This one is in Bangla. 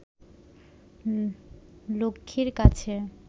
লক্ষ্মীর কাছে